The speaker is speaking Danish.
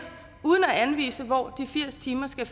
uden at anvise hvor de firs timer skal